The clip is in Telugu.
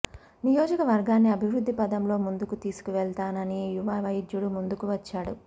నియోజకవర్గాన్ని అభివృద్ధి పథంలో ముందుకు తీసుకువెళ్తానని యువ వైద్యుడు ముందుకు వచ్చాడు